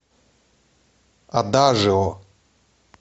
адажио